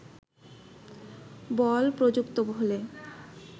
বল প্রযুক্ত হলে